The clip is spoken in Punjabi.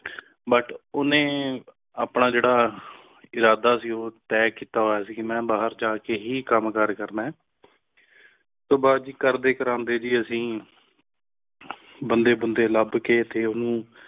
but ਉਨ੍ਹੇ ਆਪਣਾ ਜੇਰਾ ਇਰਾਦਾ ਸੀ ਉਹ ਤਹਿ ਕਿੱਤਾ ਹੋਇਆ ਸੀ ਕ ਮੇਂ ਬਾਹਿਰ ਜਾ ਕ ਹੈ ਕਾਮ ਕਰ ਕਰਨਾ ਹੈ ਉਸ ਤੋਂ ਬਾਦ ਕਰਦੇ ਕਰੰਦੇ ਜੀ ਅੱਸੀ ਬੰਦੇ ਬੰਦੇ ਲੱਬ ਕ ਤੇ ਫਿਰ ਉਣੁ